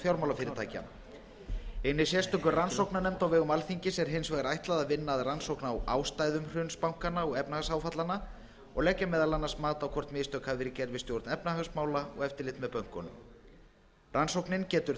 fjármálafyrirtækja hinni sérstöku rannsóknarnefnd á vegum alþingis er hins vegar ætlað að vinna að rannsókn á ástæðum hruns bankanna og efnahagsáfallanna og leggja meðal annars mat á hvort mistök hafi verið gerð við stjórn efnahagsmála og eftirlit með bönkunum rannsóknin getur